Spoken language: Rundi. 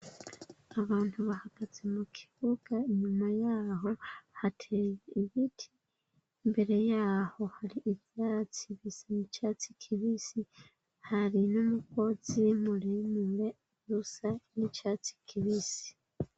Abantu bahagaze mu kibuga, inyuma yaho hateye ibiti, imbere y'aho hari ivyatsi bisa n'icatsi kibisi, hari n'umugozi muremure usa n'icatsi kibisi.